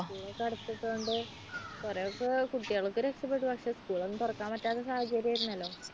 അടച്ചിട്ടത് കൊണ്ട് കുറെയൊക്കെ കുട്ടികൾ ഒക്കെ രക്ഷപ്പെടും പക്ഷേ school ഒന്നും തുറക്കാൻ പറ്റാത്ത സാഹചര്യആയിരുന്നല്ലോ?